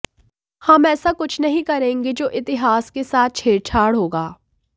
हम ऐसा कुछ नहीं करेंगे जो इतिहास के साथ छेड़छाड़ होगा